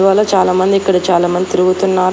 వాల చాలామంది ఇక్కడ చాలామంది తిరుగుతున్నారు.